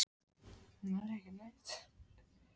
Hver eru markmiðin fyrir sumarið?